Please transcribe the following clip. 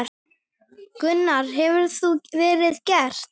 Gunnar: Hefur það verið gert?